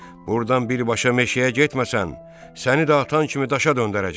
Burdan birbaşa meşəyə getməsən, səni də atan kimi daşa döndərəcəm.